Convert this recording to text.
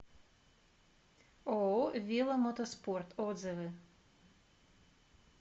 ооо веломотоспорт отзывы